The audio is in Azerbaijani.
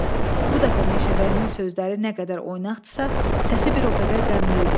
Bu dəfə meşəbəyinin sözləri nə qədər oynaqdısa, səsi bir o qədər qəmli idi.